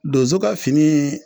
Donso ka fini